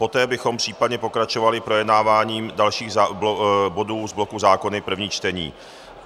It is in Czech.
Poté bychom případně pokračovali projednáváním dalších bodů z bloku zákony první čtení.